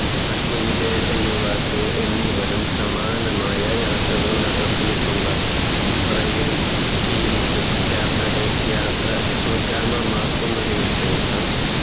മറ്റു വിദേശ യുവാക്കൾ എന്നിവരും സമാനമായ യാത്രകൾ നടത്തീട്ടുണ്ട് rail scheme ship യാത്രകൾ യാത്ര സുഗമമാക്കുന്നതിന് വിശേഷം